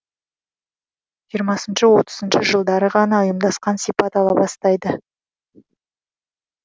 жиырмасыншы отызыншы жылдары ғана ұйымдасқан сипат ала бастайды